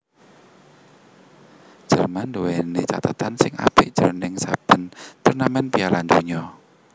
Jerman nduwèni cathetan sing apik jroning saben turnamèn Piala Donya